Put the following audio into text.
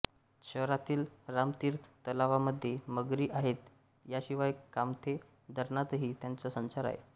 शहरातील रामतीर्थ तलावामध्ये मगरी आहेत याशिवाय कामथे धरणातही त्यांचा संचार आहे